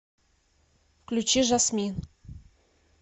включи жасмин